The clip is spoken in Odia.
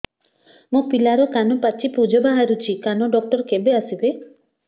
ମୋ ପିଲାର କାନ ପାଚି ପୂଜ ବାହାରୁଚି କାନ ଡକ୍ଟର କେବେ ଆସିବେ